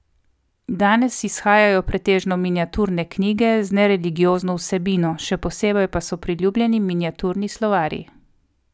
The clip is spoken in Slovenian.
Danes izhajajo pretežno miniaturne knjige z nereligiozno vsebino, še posebej pa so priljubljeni miniaturni slovarji.